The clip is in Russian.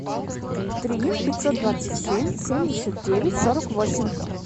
три пятьсот двадцать семь семьдесят девять сорок восемь